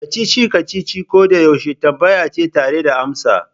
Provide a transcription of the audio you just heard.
Kacici-kacici koyaushe tambaya ce tare da amsa.